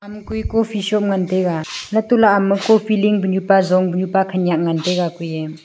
ama kui coffee shop ngan taega lato lah ama coffee ling pu nyu pa zong pu nyu pa khanyak ngan taega kui eh.